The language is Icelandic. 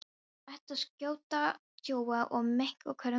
Þeir ætluðu að skjóta kjóa og mink en hvorugur mætti.